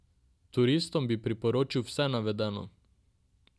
Turistom bi priporočil vse navedeno.